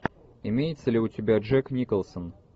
имеется ли у тебя джек николсон